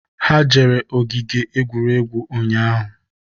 Ha jere ogige egwuregwu ụnyaahụ